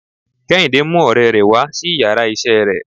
Kehinde mú òrè rè wá sí íyarà iṣẹ re